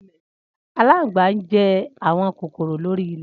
Alangba njẹ awọn kokoro lori ilẹ.